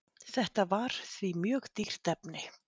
Þetta var því mjög dýrt efni.